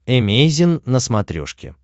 эмейзин на смотрешке